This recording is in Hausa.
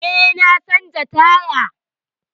Eh, na canza taya.